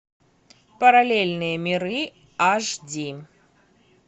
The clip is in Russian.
параллельные миры аш ди